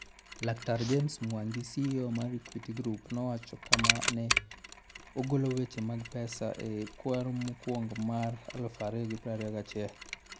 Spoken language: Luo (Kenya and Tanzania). Laktar James Mwangi, CEO mar Equity Group nowacho kama ka ne ogolo weche mag pesa e kwaro mokwongo mar 2021.